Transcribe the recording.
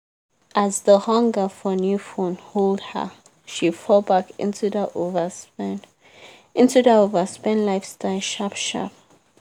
as the hunger for new phone hold her she fall back into that overspend into that overspend lifestyle sharp-sharp.